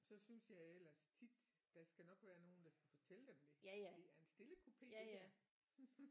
Så synes jeg ellers tit der skal nok være nogen der skal fortælle dem det det er en stillekupe det her